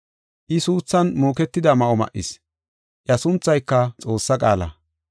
I suuthan muuketida ma7o ma7is; iya sunthayka Xoossaa Qaala.